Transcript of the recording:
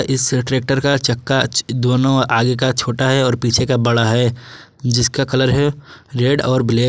इस ट्रैक्टर का चक्का दोनों आगे का छोटा है और पीछे का बड़ा है जिसका कलर है रेड और ब्लैक ।